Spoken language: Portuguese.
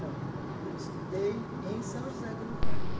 Não, eu estudei em São José do Rio Pardo.